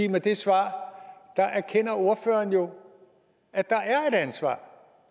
med det svar erkender ordføreren jo at der er et ansvar